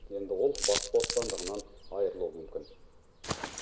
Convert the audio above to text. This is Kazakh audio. енді ол бас бостандығынан айырылуы мүмкін